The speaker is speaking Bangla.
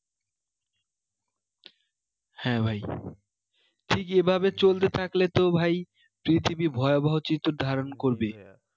হ্যাঁ ভাই ঠিক এভাবে চলতে থাকলে তো ভাই পৃথিবী ভয়াবহ চিত্র ধারণ করবে